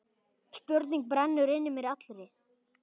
Spurning brennur inn í mér allri.